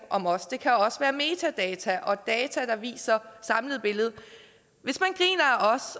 om os det kan også være metadata og data der viser samlet billede